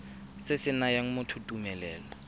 se se nayang motho tumelelo